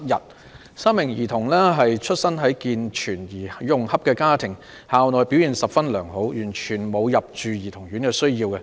該3名兒童出身於健全而融洽的家庭，校內表現十分良好，完全沒有入住兒童院的需要。